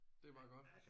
Det er bare godt